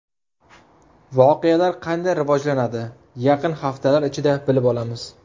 Voqealar qanday rivojlanadi yaqin haftalar ichida bilib olamiz.